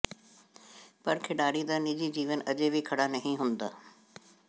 ਪਰ ਖਿਡਾਰੀ ਦਾ ਨਿੱਜੀ ਜੀਵਨ ਅਜੇ ਵੀ ਖੜ੍ਹਾ ਨਹੀਂ ਹੁੰਦਾ